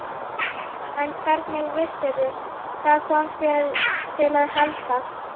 En hvernig vissirðu. hvað kom þér til að halda?